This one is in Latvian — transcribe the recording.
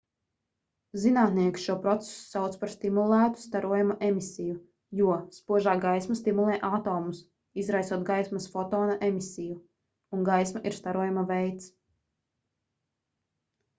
zinātnieki šo procesu sauc par stimulētu starojuma emisiju jo spožā gaisma stimulē atomus izraisot gaismas fotona emisiju un gaisma ir starojuma veids